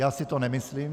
Já si to nemyslím.